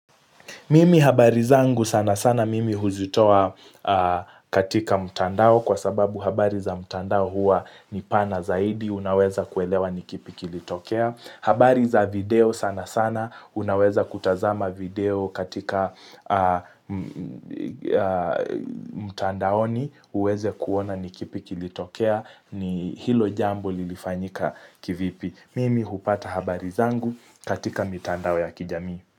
Mimi habari zangu sana sana mimi huzitoa katika mtandao kwa sababu habari za mtandao huwa ni pana zaidi, unaweza kuelewa ni kipi kilitokea. Habari za video sana sana, unaweza kutazama video katika mutandaoni, uweze kuona ni kipi kilitokea ni hilo jambo lilifanyika kivipi. Mimi hupata habari zangu katika mitandao ya kijamii.